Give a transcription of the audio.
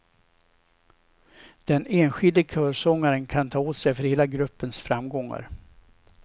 Den enskilde körsångaren kan ta åt sig för hela gruppens framgångar.